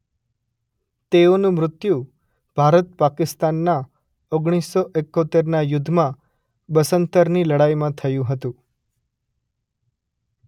તેઓનું મૃત્યુ ભારત પાકિસ્તાનના ઓગણીસ સો એકોતેરના યુદ્ધમાં બસન્તરની લડાઈમાં થયું હતું.